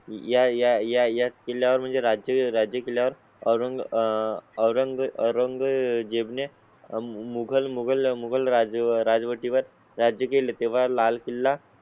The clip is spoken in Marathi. याया याया गेल्या वर म्हणजे राज्य राज्य केल्या वर अ रंग रंग रंग जेवणे, मुगल मुगल मुगल राजवटी वर राज्य केले तेव्हा लाल किल्ला